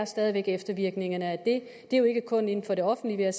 stadig væk eftervirkningerne af den ikke kun inden for det offentlige